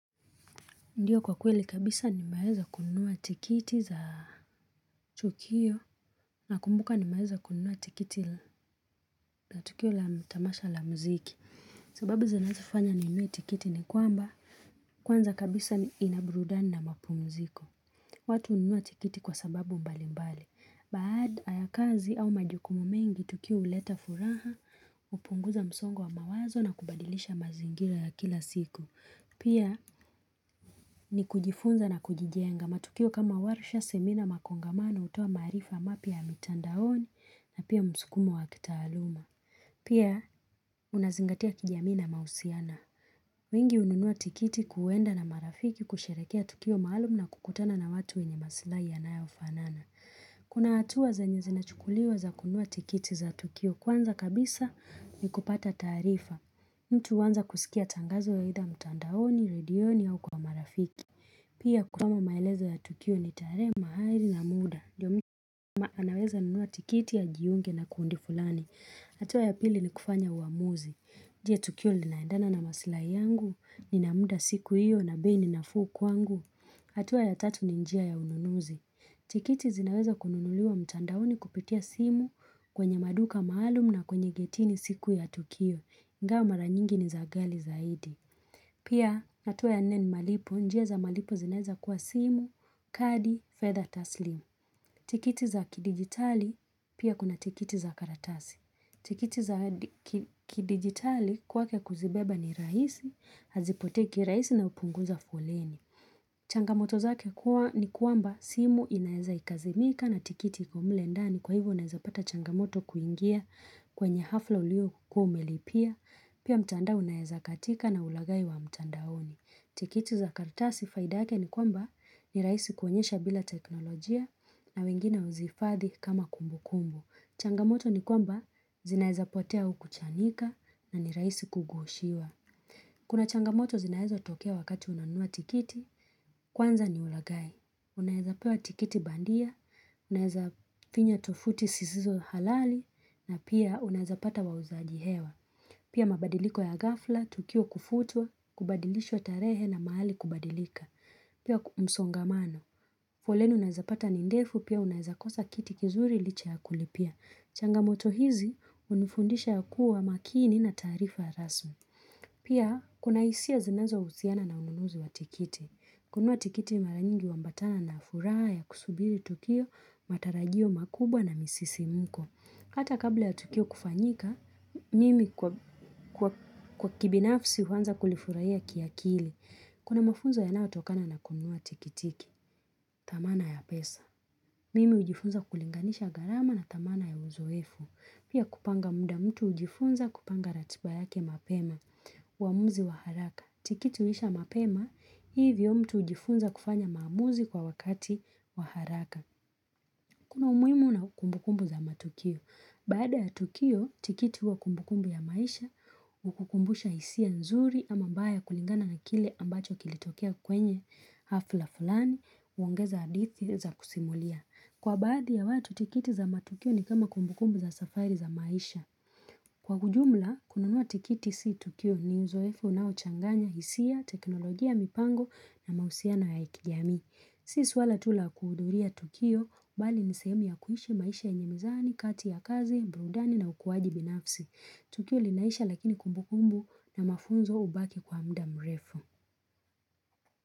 Ndiyo kwa kweli kabisa nimaweza kununua tikiti za tukio na kumbuka ni maeza kununua tikiti za tukio la tamasha la mziki. Sababu za nazafanya ni niwe tikiti ni kwamba kwanza kabisa ni inaburadani na mapumziko. Watu ununua tikiti kwa sababu mbalimbali. Baada ya kazi au majukumu mengi tukio uleta furaha upunguza msongo wa mawazo na kubadilisha mazingira ya kila siku. Pia ni kujifunza na kujijenga matukio kama warusha semina makongamana utoa maarifa mapya ya mitandaoni na pia msukumo wa kitaaluma. Pia unazingatia kijamii na mausiana. Wengi ununua tikiti kuwenda na marafiki kusherekea tukio maalum na kukutana na watu wenye masila yanayofanana. Kuna hatua zenye zinachukuliwa za kununua tikiti za tukio kwanza kabisa ni kupata taarifa. Mtu huanza kusikia tangazo ya idha mtandaoni, redioni au kwa marafiki. Pia kutama maelezo ya tukio na tarehe mahali na muda. Ndio mtu anaweza nunuwa tikiti ya ajiunge na kundi fulani. Hatua ya pili ni kufanya huamuzi. Je, tukio lilaendana na masilai yangu, nina muda siku hiyo na bei ninafuu kwangu. Hatua ya tatu ni njia ya hununuzi. Tikiti zinaweza kununuliwa mtandaoni kupitia simu kwenye maduka maalum na kwenye getini siku ya tukio. Ingawa mara nyingi ni za ghali zaidi. Pia natuwa ya nne ni malipo. Njia malipo zinaeza kwa simu, kadi, fedha taslimu. Tikiti za kidigitali pia kuna tikiti za karatasi. Tikiti za kidigitali kwa kwanza kuzibeba ni rahisi, hazipoteki rahisi na upunguza foleni. Changamoto zake kuwa ni kuamba simu inaeza ikazimika na tikiti iko mle ndani kwa hivo unaeza pata changamoto kuingia kwenye hafla uliyokuwa umelipia, pia mtandao unaeza katika na ulagai wa mtandaoni. Tikiti za karatasi faida yake ni kwamba ni rahisi kuonyesha bila teknolojia na wengine uzifadhi kama kumbukumbu. Changamoto ni kwamba zinaezapotea au kuchanika na ni rahisi kugoshiwa. Kuna changamoto zinaezo tokea wakati unanua tikiti Kwanza ni ulagai. Unaezapewa tikiti bandia, unaeza finya tofuti sisizo halali na pia unaeza pata wauzaji hewa Pia mabadiliko ya gafla, tukio kufutua, kubadilisho tarehe na mahali kubadilika Pia msongamano. Folenu unaeza pata ni ndefu pia unaeza kosa kiti kizuri licha ya kulipia. Changamoto hizi unufundisha ya kuwa makini na tarifa rasu Pia, kuna hisia zinazohusiana na ununuzu wa tikiti. Kunua tikiti mara nyingi humbatana na furaha ya kusubiri tukio, matarajio makubwa na misisimuko. Hata kabla ya tukio kufanyika, mimi kwa kibinafsi huanza kulifurahia kiakili. Kuna mafunzo yanaotokana na kununua tikitiki. Dhamana ya pesa. Mimi hujifunza kulinganisha gharama na dhamana ya uzoefu. Pia kupanga muda mtu ujifunza kupanga ratiba yake mapema, waamuzi wa haraka. Tikiti huisha mapema, hivyo mtu ujifunza kufanya mamuzi kwa wakati waharaka. Kuna umuhimu na kumbukumbu za matukio. Baada ya tukio, tikiti wa kumbukumbu ya maisha, ukukumbusha hisia nzuri ama baya kulingana na kile ambacho kilitokia kwenye hafla fulani, huongeza hadithi za kusimulia. Kwa bada ya watu tikiti za matukio ni kama kumbukumbu za safari za maisha. Kwa kujumla, kununuwa tikiti si tukio ni uzoefo na uchanganya hisia, teknolojia mipango na mahusiana ya kijamii. Si swala tu la kuhudhuria tukio, mbali nisemi ya kuhishi maisha enyemizani, kati ya kazi, mbrudani na ukuwaji binafsi. Tukio linaisha lakini kumbukumbu na mafunzo ubaki kwa mda mrefu.